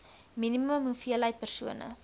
minimum hoeveelheid persone